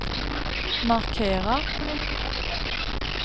markera